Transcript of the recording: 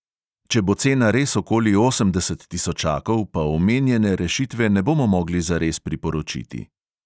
Če bo cena res okoli osemdeset tisočakov, pa omenjene rešitve ne bomo mogli zares priporočiti.